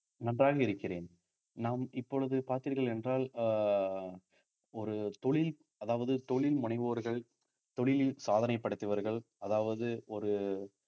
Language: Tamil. நன்றாக இருக்கிறேன் நாம் இப்பொழுது பார்த்தீர்கள் என்றால் அஹ் ஒரு தொழில் அதாவது தொழில் முனைவோர்கள் தொழிலில் சாதனை படைத்தவர்கள் அதாவது ஒரு